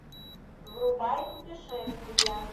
врубай путешествия